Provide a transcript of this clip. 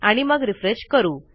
आणि मग रिफ्रेश करू